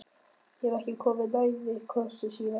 Ég hef ekki komið nærri krossi síðan.